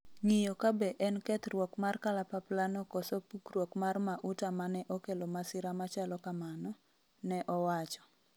ng'iyo kabe en kethruok mar kalapapla no koso pukruok mar mauta mane okelo masira machalo kamano, ne owacho